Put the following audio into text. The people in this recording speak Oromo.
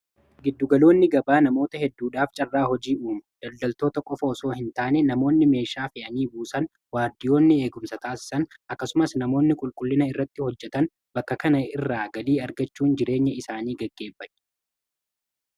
giddugaloonni gabaa namoota hedduudhaaf carraa hojii uumu daldaltoota qofa osoo hin taane namoonni meeshaa fe'anii buusan waardiyoonni eegumsa taasisan akkasumas namoonni qulqullina irratti hojjatan bakka kana irraa galii argachuun jireenya isaanii geggeeffatu